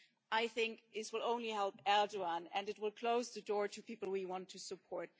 I think this would only help Erdoğan and it would close the door to the people we want to support.